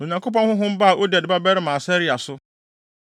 Na Onyankopɔn honhom baa Oded babarima Asaria so,